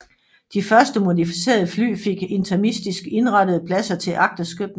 De første modificerede fly fik intermistisk indrettede pladser til agterskytten